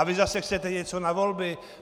A vy zase chcete něco na volby.